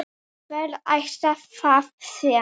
Hver ætli það sé?